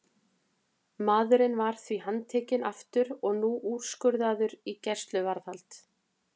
Maðurinn var því handtekinn aftur og nú úrskurðaður í gæsluvarðhald.